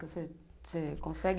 Você você consegue?